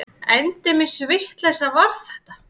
Endemis vitleysa var þetta!